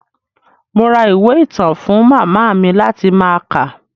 Mo ra ìwé ìtàn fún màmá mi láti máa kà.